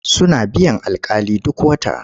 Suna biyan alƙali duk wata.